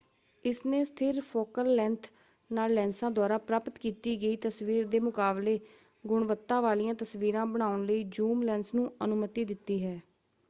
ਇਸਨੇ ਸਥਿਰ focal length ਨਾਲ ਲੈਂਸਾਂ ਦੁਆਰਾ ਪ੍ਰਾਪਤ ਕੀਤੀ ਗਈ ਤਸਵੀਰ ਦੇ ਮੁਕਾਬਲੇ ਗੁਣਵੱਤਾ ਵਾਲੀਆਂ ਤਸਵੀਰਾਂ ਬਣਾਉਣ ਲਈ ਜ਼ੂਮ ਲੈਂਸ ਨੂੰ ਅਨੁਮਤੀ ਦਿੱਤੀ ਹੈ।